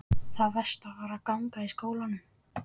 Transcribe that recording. Það versta var að ganga í skólann.